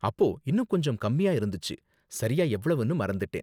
அப்போ இன்னும் கொஞ்சம் கம்மியா இருந்துச்சு, சரியா எவ்வளவுன்னு மறந்துட்டேன்.